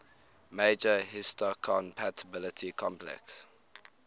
major histocompatibility complex